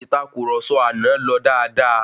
Ìtàkurọ̀sọ àná lọ dáadáa.